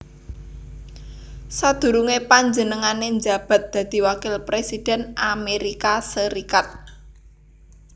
Sadurungé panjenengané njabat dadi wakil presiden Amérika Sarékat